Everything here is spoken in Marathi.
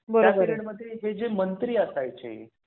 त्या पीरियड मध्ये मंत्री असायची. त्याचे सैनिक असायचे.